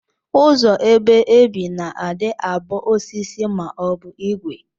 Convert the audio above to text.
Ụzọ ebe ebi na adi abu osisi ma obu igwe.